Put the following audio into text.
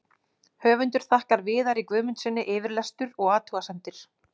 Höfundur þakkar Viðari Guðmundssyni yfirlestur og athugasemdir.